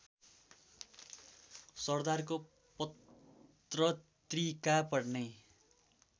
सरदारको पत्रत्रिका पढ्ने